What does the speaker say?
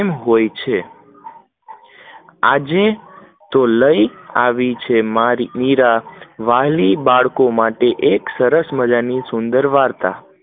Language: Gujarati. હોય છે આજે તો લઇ લાવી છે મારી મીરા, વ્હાલી બાળકો મારે એક સરસ માજા નું સુંદર વાર્તાઓ